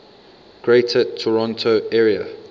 greater toronto area